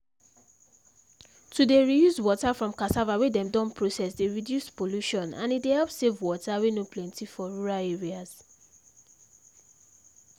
to dey reuse water from cassava wey dem don process dey reduce pollution and e dey help save water wey no plenty for rural areas